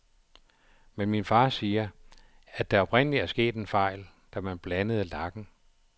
Men min far siger, at der oprindeligt er sket en fejl, da man blandede lakken.